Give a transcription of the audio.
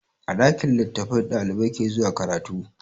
A ɗakin littattafai ɗalibai ke zuwa karatu.